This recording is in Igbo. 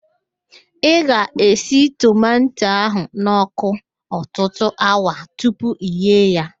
Ị ga-esi tomanto ahụ n'ọkụ ọtụtụ awa tupu ị ghee ya